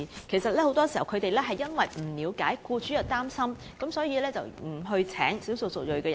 政府很多時也不了解僱主的擔心，不明白他們為何不聘用少數族裔人士。